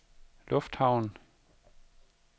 lufthavn